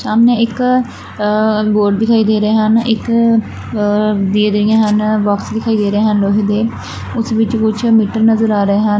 ਸਾਹਮਣੇ ਇੱਕ ਅ ਬੋਰਡ ਦਿਖਾਈ ਦੇ ਰਹੇ ਹਨ ਇੱਕ ਅ ਦੇ ਰਹੀ ਹਨ ਬੌਕਸ ਦਿਖਾਈ ਦੇ ਰਹੇ ਹਨ ਵੈਸੇ ਤੇ ਉਸ ਵਿੱਚ ਕੁਛ ਮੀਟਰ ਨਜਰ ਆ ਰਹੇ ਹਨ।